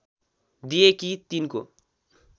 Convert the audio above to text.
दिए कि तिनको